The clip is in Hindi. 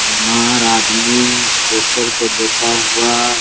बीमार आदमी स्ट्रेचर पे लेटा हुआ --